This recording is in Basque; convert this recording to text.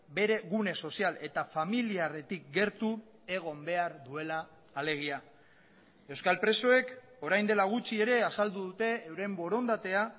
bere gune sozial eta familiarretik gertu egon behar duela alegia euskal presoek orain dela gutxi ere azaldu dute euren borondatea